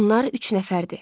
Onlar üç nəfərdir.